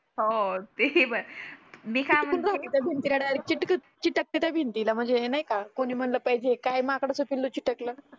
हो तेही बर मी काय म्हणते चिटकते काय भिंतीला म्हणजे हे नाही का कोणी म्हणलं पाहिजे काय माकडाचे पिल्लू चिटकलं